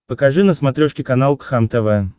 покажи на смотрешке канал кхлм тв